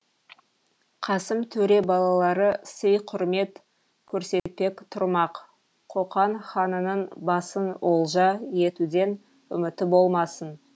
қасым төре балалары сый құрмет көрсетпек тұрмақ қоқан ханының басын олжа етуден үміті болмасын